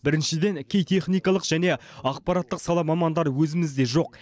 біріншіден кей техникалық және ақпараттық сала мамандары өзімізде жоқ